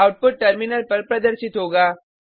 output terminal पर प्रदर्शित होगा